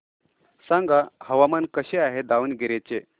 सांगा हवामान कसे आहे दावणगेरे चे